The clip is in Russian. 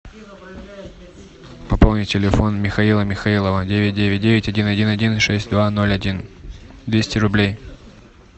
пополнить телефон михаила михаилова девять девять девять один один один шесть два ноль один двести рублей